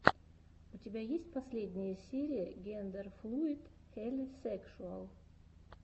у тебя есть последняя серия гендерфлуид хелисекшуал